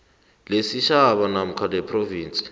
lesitjhaba namkha lephrovinsi